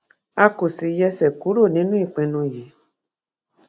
a kò sì yẹsẹ kúrò nínú ìpinnu yìí